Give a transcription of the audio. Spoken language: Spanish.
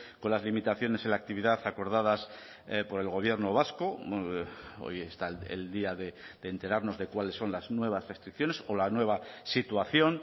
con las limitaciones en la actividad acordadas por el gobierno vasco hoy está el día de enterarnos de cuáles son las nuevas restricciones o la nueva situación